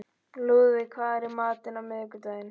Lúðvík, hvað er í matinn á miðvikudaginn?